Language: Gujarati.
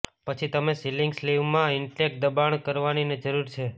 પછી તમે સિલીંગ સ્લીવમાં ઇનટેક દબાણ કરવાની જરૂર છે